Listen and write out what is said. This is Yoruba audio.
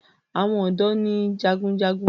àwọn odò ní jágunjágun.